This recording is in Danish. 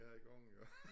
Ja i gang iggå